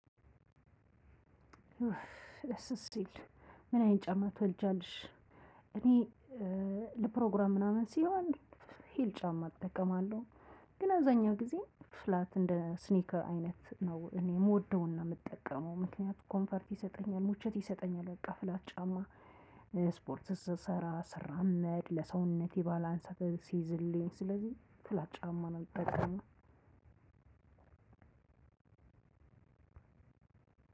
ምን አይን ጫማ ትወልጃለሽ እኔ ለፕሮግራም ምናምን ሲሆን ሂል ጫማ እጠቀማለሁ። ግን አዛኛው ጊዜ ፍላት እንደ ስኒከር አይነት ነው እኔ የምወደውን ነው የምጠቀመው ምክንያቱም ኮምፎርት ይሰጠኛል ምቾት ይሰጠኛል ፍላት ጫማ። ስፖርት ስሰራ ስራመድ ለሰውነት ባላንስ አንስተህ ሲይዝልኝ ስለዚህ ፍላት ጫማ ነው የምጠቀመው።